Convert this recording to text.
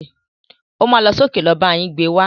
O má lọ sókè lọ bá yín gbé wá.